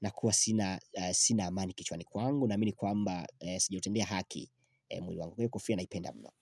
na kuwa sina amani kichwani kwangu naamini kwamba sijautendea haki mwili wangu. Kofia na ipenda mno.